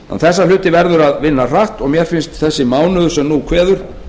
þessa hluti verður að vinna hratt og mér finnst þessi mánuður sem nú kveður